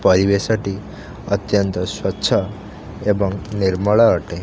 ପରିବେଶ ଟି ଅତ୍ୟନ୍ତ ସ୍ୱଚ୍ଛ ଏବଂ ନିର୍ମଳ ଅଟେ।